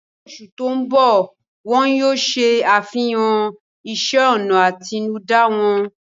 Ní oṣù tó ń bọ̀, wọ́n yóò ṣe àfihàn ìṣe ọnà àtinúdá wọn